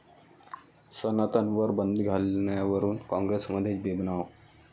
सनातनवर बंदी घालण्यावरून काँग्रेसमध्येच बेबनाव